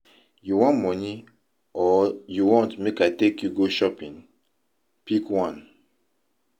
You wan money or you want make I take you go shopping? Pick one